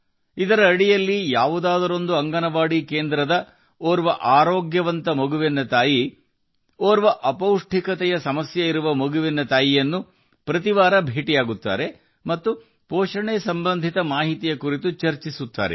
ಇದರ ಅಡಿಯಲ್ಲಿ ಅಂಗನವಾಡಿ ಕೇಂದ್ರದಿಂದ ಆರೋಗ್ಯವಂತ ಮಗುವಿನ ತಾಯಿ ಪ್ರತಿ ವಾರ ಅಪೌಷ್ಟಿಕತೆಯ ಮಗುವಿನ ತಾಯಿಯನ್ನು ಭೇಟಿಯಾಗುತ್ತಾರೆ ಮತ್ತು ಎಲ್ಲಾ ಪೌಷ್ಟಿಕಾಂಶ ಸಂಬಂಧಿತ ಮಾಹಿತಿಯನ್ನು ಚರ್ಚಿಸುತ್ತಾರೆ